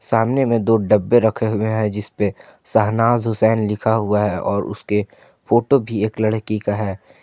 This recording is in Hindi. सामने में दो डब्बे रखे हुए हैं जिसपे शहनाज हुसैन लिखा हुआ है और उसके फोटो भी एक लड़की का है।